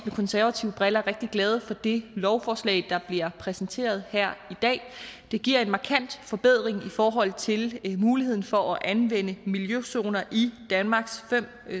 konservative briller rigtig glade for det lovforslag der bliver præsenteret her i dag det giver en markant forbedring i forhold til muligheden for at anvende miljøzoner i danmarks fem